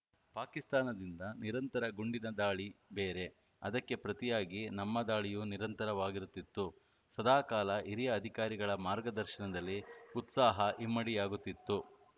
ಪಾಕಿಸ್ತಾನದಿಂದ ನಿರಂತರ ಗುಂಡಿನ ದಾಳಿ ಬೇರೆ ಅದಕ್ಕೆ ಪ್ರತಿಯಾಗಿ ನಮ್ಮ ದಾಳಿಯೂ ನಿರಂತರವಾಗಿರುತ್ತಿತ್ತು ಸದಾಕಾಲ ಹಿರಿಯ ಅಧಿಕಾರಿಗಳ ಮಾರ್ಗದರ್ಶನದಲ್ಲಿ ಉತ್ಸಾಹ ಇಮ್ಮಡಿಯಾಗುತ್ತಿತ್ತು